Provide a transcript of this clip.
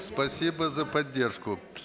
спасибо за поддержку